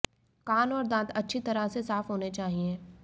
कान और दांत अच्छी तरह से साफ होने चाहिए